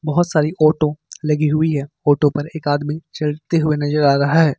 बहुत सारी ऑटो लगी हुई है ऑटो पर एक आदमी चढ़ते हुए नजर आ रहा है।